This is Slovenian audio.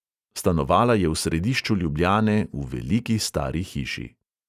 Stanovala je v središču ljubljane, v veliki stari hiši.